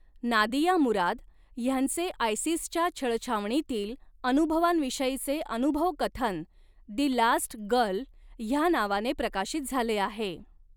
Nadia Murad ह्यांचे आयसिसच्या छळछावणीतील अनुभवांविषयीचे अनुभवकथन दि लास्ट गर्ल ह्या नावाने प्रकाशित झाले आहे.